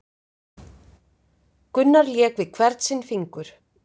Gunnar lék við hvern sinn fingur